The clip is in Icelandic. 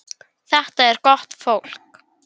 Rökin tíva um regin fjalla.